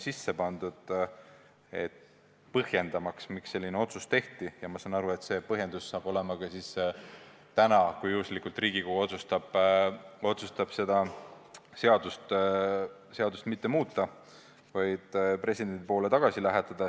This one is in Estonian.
See peab põhjendama, miks selline otsus tehti, ja ma saan aru, et see põhjendus saab olema ka täna, kui Riigikogu otsustab seda seadust mitte muuta ja selle presidendile tagasi lähetada.